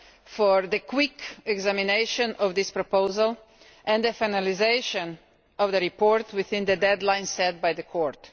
for the quick examination of this proposal and the finalisation of the report within the deadline set by the Court.